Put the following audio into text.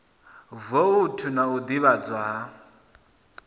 voutu na u ḓivhadzwa ha